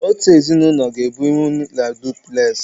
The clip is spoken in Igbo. otu ezinụlọ ga-ebinwu na dupules.